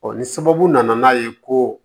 ni sababu nana n'a ye ko